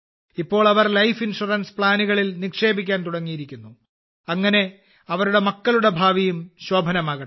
ഇപ്പോൾ അവർ life insurance പദ്ധതികളിൽ നിക്ഷേപിക്കാൻ തുടങ്ങിയിരിക്കുന്നു അങ്ങനെ അവരുടെ മക്കളുടെ ഭാവിയും ശോഭനമാകട്ടെ